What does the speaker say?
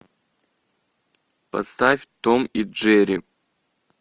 поставь том и джерри